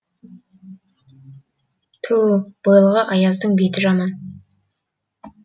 тө өу бойылға аяздың беті жаман